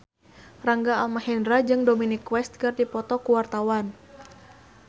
Rangga Almahendra jeung Dominic West keur dipoto ku wartawan